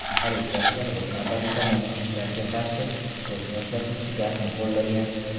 Politsiyachilar, o‘z navbatida, namoyishchilarga qarshi ko‘zni yoshlatuvchi gazni qo‘llagan.